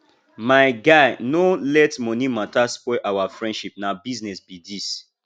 my guy no let money matter spoil our friendship na business be this